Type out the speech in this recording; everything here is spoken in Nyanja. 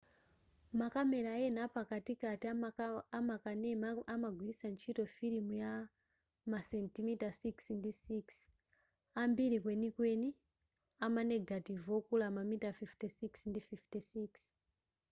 makamela ena a pakatipati amakanema amagwilitsa ntchito filimu ya masentimita 6 ndi 6 ambiri kwenikweni ama negative okula mamilimita 56 ndi 56